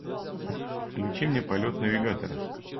включи мне полет навигатора